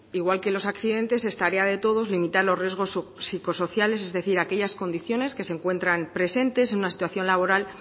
igual que los accidentes es tarea de todos limitar los riesgos psicosociales es decir aquellas condiciones que se encuentran presentes en una situación laboral